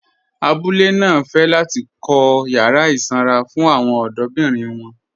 Àbúlé náà fẹ́ láti kọ̀ yàrà isanra fún awọn ọdọ̀birin wọn